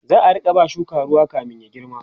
za'a Rika ba shukan ruwa kamin ya girma